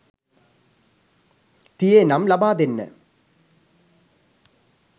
තියේ නම් ලබා දෙන්න.